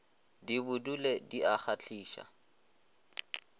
di bodule di a kgahliša